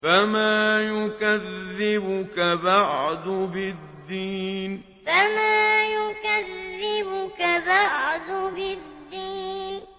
فَمَا يُكَذِّبُكَ بَعْدُ بِالدِّينِ فَمَا يُكَذِّبُكَ بَعْدُ بِالدِّينِ